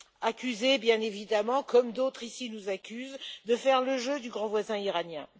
Accusée bien évidemment, comme d'autres ici nous accusent de faire le jeu du grand voisin iranien.